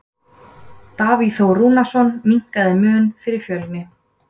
Davíð Þór Rúnarsson minnkaði muninn fyrir Fjölni.